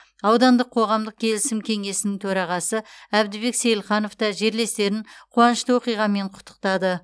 аудандық қоғамдық келісім кеңесінің төрағасы әбдібек сейілханов та жерлестерін қуанышты оқиғамен құттықтады